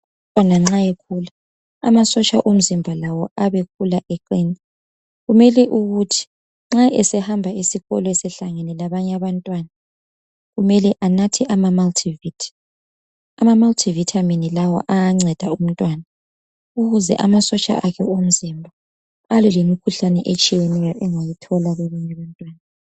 Umntwana nxa ekhula amasotsha omzimba lawo ayabe akhula eqina kumele ukuthi nxa esehamba esikolo esehlangene labanye abantwana kumele anathe amamulti vithi . Amamaliti vithamini lawa ayanceda umntwana ukuze amasotsha akhe omzimba alwe lemikhuhlane angayithola.